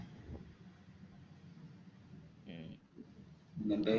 ഹും